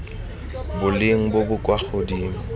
boleng bo bo kwa godimo